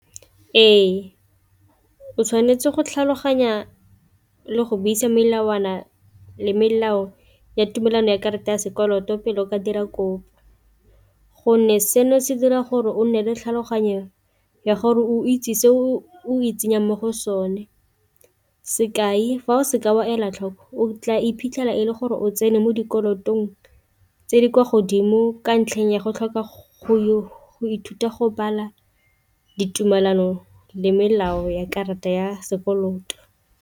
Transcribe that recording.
Ee, o tshwanetse go tlhaloganya le go buisa melawana le melao ya tumelano ya karata ya sekoloto pele o ka dira kopo, gonne seno se dira gore o nne le tlhaloganyo ya gore o itse se o itsenya mo go sone, sekai fa o seka wa ela tlhoko o tla iphitlhela e le gore o tsene mo dikolotong tse di kwa godimo ka ntlheng ya go tlhoka go ithuta go bala ditumelano le melao ya karata ya sekoloto.